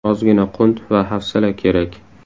Ozgina qunt va hafsala kerak.